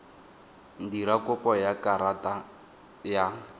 dira kopo ya karata ya